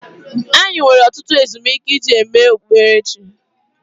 Anyị nwere ọtụtụ ezumike iji mee ememe okpukperechi.